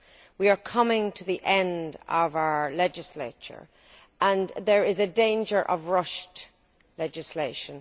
We are coming to the end of our legislature, and there is a danger of rushed legislation.